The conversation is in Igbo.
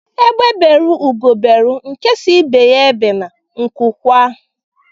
Egbe beru Ugo beru nke si ibe ya ebene nku kwaa